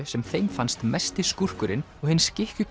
sem þeim fannst mesti skúrkurinn og hinn